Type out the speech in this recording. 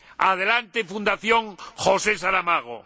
¡Adelante Fundación José Saramago!